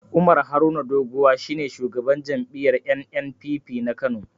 Umar Haruna Doguwa shi ne shugaban jam'iyyar NNPP na Kano.